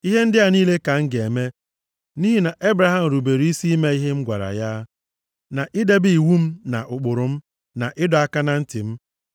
Ihe ndị a niile ka m ga-eme nʼihi na Ebraham rubere isi ime ihe m gwara ya, na idebe iwu m na ụkpụrụ m, na ịdọ aka na ntị m.”